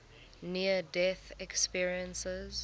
near death experiences